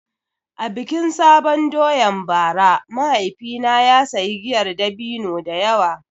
A bikin sabon doyan bara mahaifina ya sayi giyar dabino da yawa.